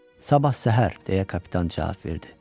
Sabah səhər, deyə kapitan cavab verdi.